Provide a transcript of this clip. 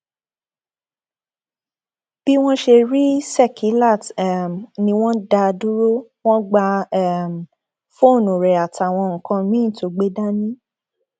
bí wọn ṣe rí sekílát um ni wọn dá a dúró wọn gba um fóònù rẹ àtàwọn nǹkan míín tó gbé dání